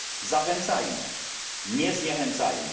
Zachęcajmy, nie zniechęcajmy!